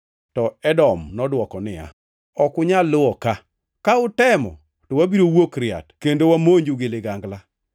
To Edom nodwoko niya, “Ok unyal luwo ka; ka utemo, to wabiro wuok riat kendo wamonju gi ligangla.”